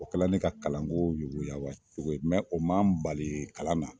O kɛla ne ka kalanko yobo yaba cogo ye o ma n bali kalan na.